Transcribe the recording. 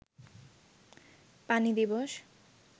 পানি দিবস